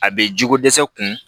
A bɛ jiko dɛsɛ kun